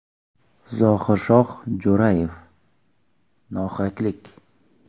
Zohir Shoh Jo‘rayev: “Nohaqlik!